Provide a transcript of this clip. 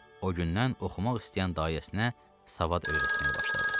O gündən oxumaq istəyən dayəsinə savad öyrətməyə başladı.